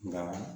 Nka